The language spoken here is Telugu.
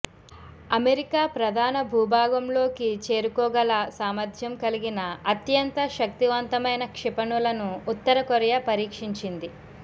అమెరికా ప్రధాన భూభాగంలోకి చేరుకోగల సామర్థ్యం కలిగిన అత్యంత శక్తివంతమైన క్షిపణులను ఉత్తర కొరియా పరీక్షించింది